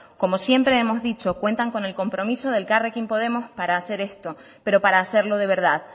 como siempre hemos dicho cuentan con el compromiso de elkarrekin podemos para hacer esto pero para hacerlo de verdad